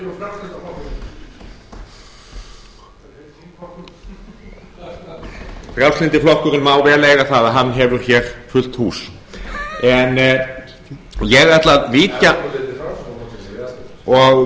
sama enn þá frjálslyndi flokkurinn má vel eiga það að hann hefur hér fullt hús ég ætla að